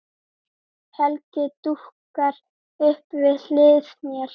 Helgi dúkkar upp við hlið mér.